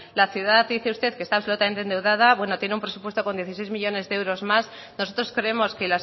la ciudad dice usted que está absolutamente endeudada bueno tiene un presupuesto con dieciséis millónes de euros más nosotros creemos que